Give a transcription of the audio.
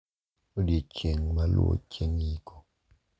Odiechieng` ma luwo chieng` iko.